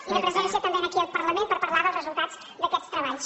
i de presència també aquí al parlament per parlar dels resultats d’aquests treballs